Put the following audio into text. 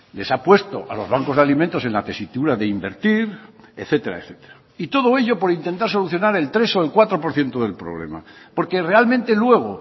les ha puesto a los bancos de alimentos en la tesitura de invertir etcétera etcétera y todo ello por intentar solucionar el tres o el cuatro por ciento del problema porque realmente luego